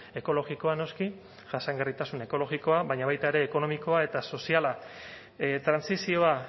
ekologikoa noski jasangarritasun ekologikoa baina baita ere ekonomikoa eta soziala trantsizioa